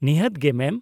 ᱱᱤᱦᱟᱹᱛ ᱜᱮ, ᱢᱮᱢ ᱾